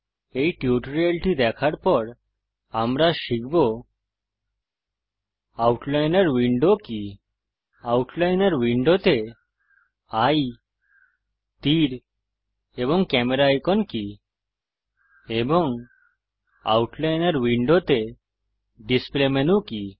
এই টিউটোরিয়ালটি দেখার পর আমরা শিখব আউটলাইনর উইন্ডো কি আউটলাইনর উইন্ডোতে এয়ে তীর এবং ক্যামেরা আইকন কি এবং আউটলাইনর উইন্ডোতে ডিসপ্লে মেনু কি